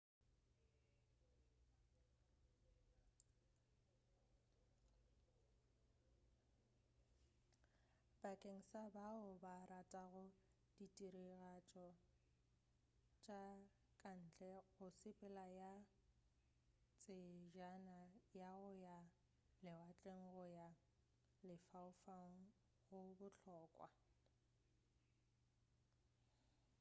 bakeng sa bao ba ratago ditiragatšo tša ka ntle go sepela ka tsejana ya go ya lewatleng go ya lefaufaung go bohlokwa